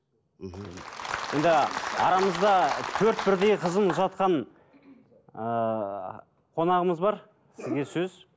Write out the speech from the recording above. енді арамызда төрт бірдей қызын ұзатқан ыыы қонағымыз бар сізге сөз